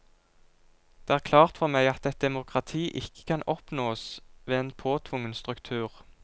Det er klart for meg at et demokrati ikke kan oppnåes ved en påtvungen struktur.